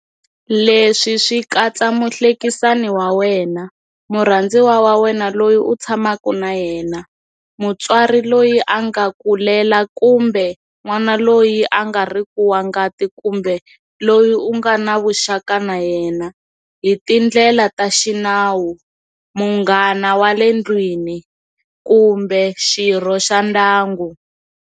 Leswi swi katsa muhlekekisani wa wena, murhandziwa wa wena loyi u tshamaka na yena, mutswari loyi a nga ku lela kumbe n'wana loyi a nga riki wa ngati kambe loyi u nga na vuxaka na yena hi tindlela ta xinawu, munghana wa le ndlwini kumbe xirho xa ndyangu.